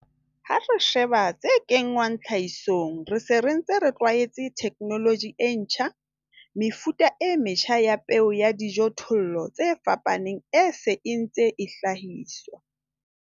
Ha re sheba tse kenngwang tlhahisong, re se re ntse re tlwaetse theknoloji e ntjha. Mefuta e metjha ya peo ya dijothollo tse fapaneng e se e ntse e hlahiswa.